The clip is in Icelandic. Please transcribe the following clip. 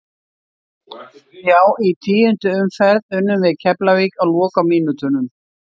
Já í tíundu umferð unnum við Keflavík á lokamínútunum.